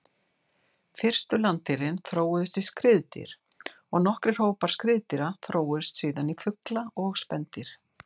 Fyrstu landdýrin þróuðust í skriðdýr og nokkrir hópar skriðdýra þróuðust síðan í fugla og spendýr.